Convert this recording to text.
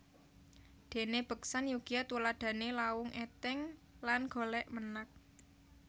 Dene beksan Yogya tuladhane Lawung Eteng lan Golek Menak